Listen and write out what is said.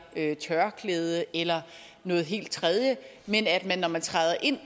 et tørklæde eller noget helt tredje men at man når man træder ind